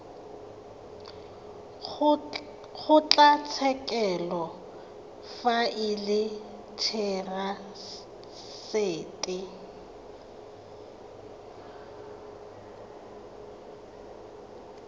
kgotlatshekelo fa e le therasete